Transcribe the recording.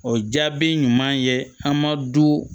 O jaabi ɲuman ye an ma du